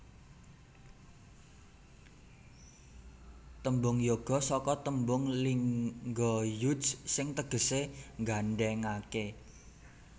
Tembung yoga saka tembung lingha yuj sing tegesé nggandhèngaké